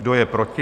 Kdo je proti?